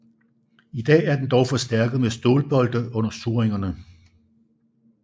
I dag er den dog forstærket med stålbolte under surringerne